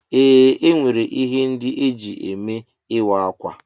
Ee, enwere ihe ndị eji eme ịwa ákwà.